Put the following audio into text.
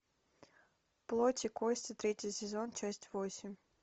плоть и кости третий сезон часть восемь